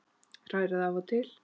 Hrærið af og til.